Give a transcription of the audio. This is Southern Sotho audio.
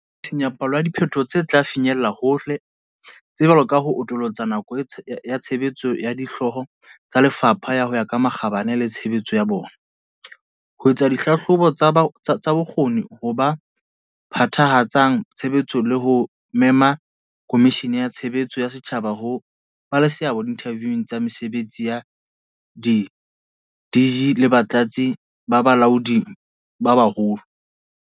Re sisinya palo ya diphe toho tse tla finyellang hole, tse jwalo ka ho atolosa nako ya tshebetso ya Dihlooho tsa Lefapha ho ya ka makgabane le tshebetso ya bona, ho etsa dihlahlobo tsa bokgoni ba ho phethahatsa tshebetso le ho mema Komishini ya Tshe beletso ya Setjhaba ho ba le seabo diinthaviung tsa mese betsi ya di-DG le Batlatsi ba Balaodi ba Moholo, di-DDG.